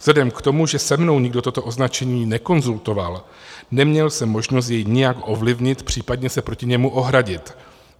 Vzhledem k tomu, že se mnou nikdo toto označení nekonzultoval, neměl jsem možnost jej nijak ovlivnit, případně se proti němu ohradit.